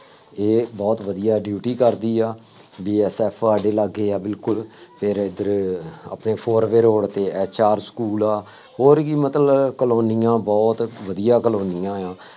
ਇਹ ਬਹੁਤ ਵਧੀਆ duty ਕਰਦੀ ਆ, BSF ਸਾਡੇ ਲਾਗੇ ਆ ਬਿਲਕੁੱਲ, ਫੇਰ ਇੱਧਰ ਆਪਣੇ four way road ਤੇ ਐਚ ਆਰ ਸਕੂਲ ਆ, ਹੋਰ ਕਿ ਮਤਲਬ ਕਾਲੋਨੀਆਂ ਬਹੁਤ ਵਧੀਆਂ ਕਾਲੋਨੀਆਂ ਆ।